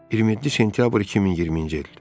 27 sentyabr 2020-ci il.